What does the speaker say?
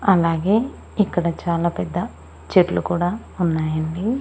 అలాగే ఇక్కడ చాలా పెద్ద చెట్లు కూడా ఉన్నాయి అండి.